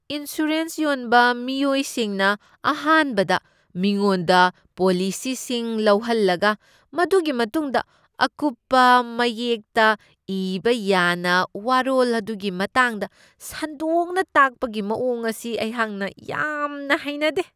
Insurance ꯌꯣꯟꯕ ꯃꯤꯑꯣꯏꯁꯤꯡꯅ ꯑꯍꯥꯟꯕꯗ ꯃꯤꯉꯣꯟꯗ ꯄꯣꯂꯤꯁꯤꯁꯤꯡ ꯂꯧꯍꯜꯂꯒ ꯃꯗꯨꯒꯤ ꯃꯇꯨꯡꯗ ꯑꯀꯨꯞꯄ ꯃꯌꯦꯛꯇ ꯏꯕ ꯌꯥꯅ ꯋꯥꯔꯣꯜ ꯑꯗꯨꯒꯤ ꯃꯇꯥꯡꯗ ꯁꯟꯗꯣꯛꯅ ꯇꯥꯛꯄꯒꯤ ꯃꯋꯣꯡ ꯑꯁꯤ ꯑꯩꯍꯥꯛꯅ ꯌꯥꯝꯅ ꯍꯩꯅꯗꯦ ꯫